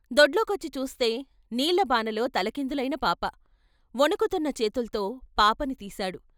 దొడ్లోకొచ్చి చూస్తే నీళ్ళ బానలో తలకిందులైన పాప వణుకుతున్న చేతుల్తో పాపని తీశాడు.